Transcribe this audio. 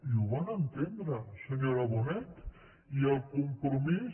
i ho van entendre senyora bonet i el compromís